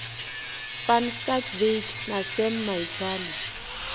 van schalkwyk na sam maitswane